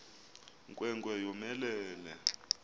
nkwe nkwe yomelele